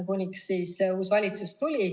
Kuniks tuli uus valitsus.